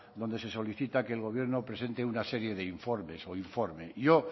donde se solicita que el gobierno presente una serie de informes o informe yo